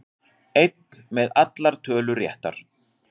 Einn með allar tölur réttar